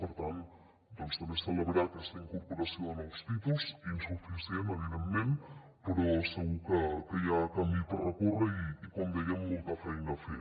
per tant també celebrar aquesta incorporació de nous títols insuficient evidentment però segur que hi ha camí per recórrer i com dèiem molta feina a fer